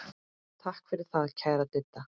Takk fyrir það, kæra Didda.